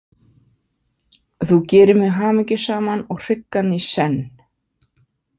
Þú gerir mig hamingjusaman og hryggan í senn